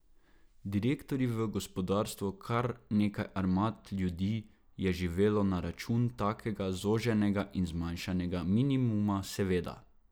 Direktorji v gospodarstvu, kar nekaj armad ljudi je živelo na račun takega zoženega in zmanjšanega minimuma seveda.